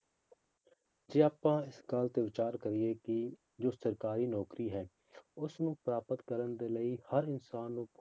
ਜੇ ਆਪਾਂ ਇਸ ਗੱਲ ਤੇ ਵਿਚਾਰ ਕਰੀਏ ਕਿ ਜੋ ਸਰਕਾਰੀ ਨੌਕਰੀ ਹੈ ਉਸਨੂੰ ਪ੍ਰਾਪਤ ਕਰਨ ਦੇ ਲਈ ਹਰ ਇਨਸਾਨ ਨੂੰ